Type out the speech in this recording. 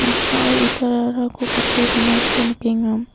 noksao itararako gate donako nikenga.